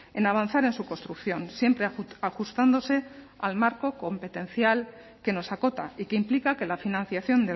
en avanzar en su construcción siempre ajustándose al marco competencial que nos acota y que implica que la financiación